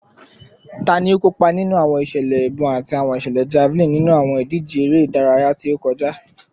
Tani o kopa ninu awọn iṣẹlẹ ibọn ati awọn iṣẹlẹ javelin ninu awọn idije ere idaraya ti o kọja?